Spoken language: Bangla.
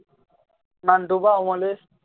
নান্টু বা অমলেশ